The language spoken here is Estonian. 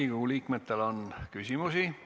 Riigikogu liikmetel on küsimusi.